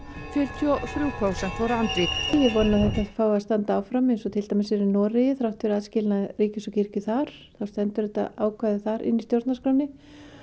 fjörutíu og þrjú prósent voru andvíg ég vona að þetta fái að standa áfram eins og til dæmis er í Noregi þrátt fyrir aðskilnað ríkis og kirkju þar þá stendur þetta ákvæði þar inn í stjórnarskránni